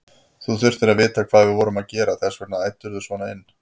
Þú þurftir að vita hvað við vorum að gera, þess vegna æddirðu svona inn.